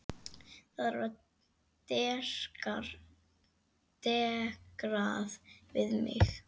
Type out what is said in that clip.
Þar var dekrað við mig.